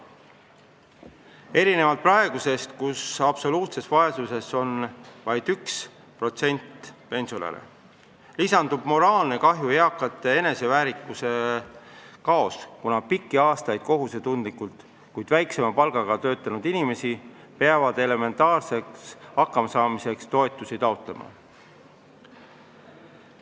Erinevalt praegusest, kui absoluutses vaesuses on vaid 1% pensionäre, lisanduks moraalne kahju, eakate eneseväärikuse kadu, kuna pikki aastaid kohusetundlikult, kuid väiksema palgaga töötanud inimesed peaksid elementaarseks hakkamasaamiseks toetusi taotlema.